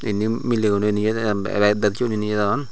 inni mileune nwyo de arw arw ek bek siun hi nejadon.